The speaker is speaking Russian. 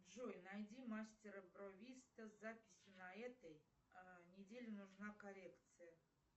джой найди мастера бровиста с записью на этой неделе нужна коррекция